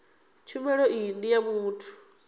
tshumelo iyi ndi ya muthu